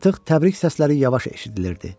Artıq təbrik səsləri yavaş eşidilirdi.